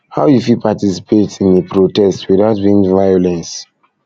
how you fit participate in a protest without being violence